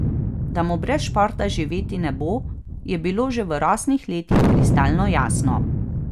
Da mu brez športa živeti ne bo, je bilo že v rosnih letih kristalno jasno.